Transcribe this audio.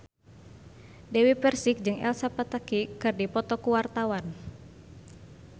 Dewi Persik jeung Elsa Pataky keur dipoto ku wartawan